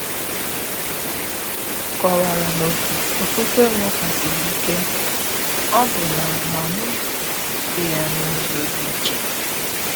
M kọ̀wara na ofufe m ka siri ike, ọbụna ma m na-egosi ya n’ụzọ dị iche.